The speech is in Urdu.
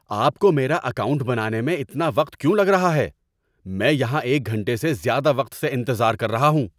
آپ کو میرا اکاؤنٹ بنانے میں اتنا وقت کیوں لگ رہا ہے؟ میں یہاں ایک گھنٹے سے زیادہ وقت سے انتظار کر رہا ہوں!